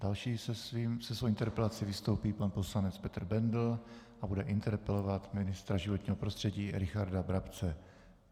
Další se svou interpelací vystoupí pan poslanec Petr Bendl a bude interpelovat ministra životního prostředí Richarda Brabce.